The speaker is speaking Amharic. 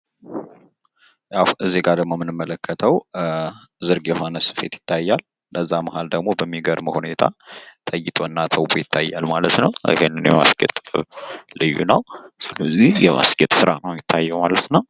በምስሉ ላይ የምንመለከተው ዝርግ የሆነ ስፌት ሲሆን ይኸውም በሚገርም ሁኔታ ተጊጦና ተውቦ ይታያል። ይሄንን የማስጌጥ ስራ ልዩ ነው። ስለዚህ በምስሉ ላይ የምናየው የማስጌጥ ስራ ነው ማለት ነው።